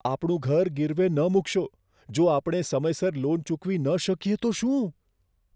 આપણું ઘર ગીરવે ન મૂકશો. જો આપણે સમયસર લોન ચૂકવી ન શકીએ તો શું?